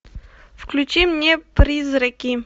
включи мне призраки